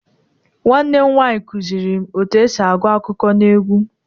Nwanne m nwaanyị kụzịrị m otú e si agụ akụkọ n'egwú